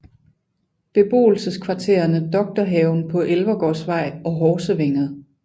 Beboelseskvarterene Doktorhaven på Elvergårdsvej og Horsevænget